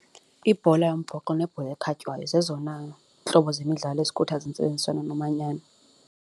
Ibhola yombhoxo nebhola ekhatywayo zezona ntlobo zemidlalo ezikhuthaza intsebenziswana nomanyano.